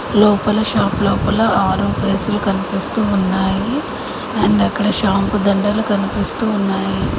లోపల షాప్ లోపల సులు కనిపిస్తూ ఉన్నాయి అండ్ అక్కడ షాంపు దండలు కనిపిస్తూ ఉన్నాయి.